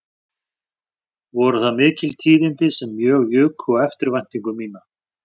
Voru það mikil tíðindi sem mjög juku á eftirvæntingu mína